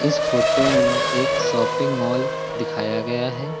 इस फोटो में एक शॉपिंग मॉल दिखाया गया है।